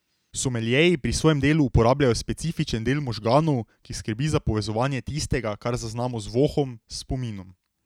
Someljeji pri svojem delu uporabljajo specifičen del možganov, ki skrbi za povezovanje tistega, kar zaznamo z vohom, s spominom.